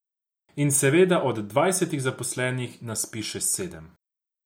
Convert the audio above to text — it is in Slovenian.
In, seveda, od dvajsetih zaposlenih nas piše sedem.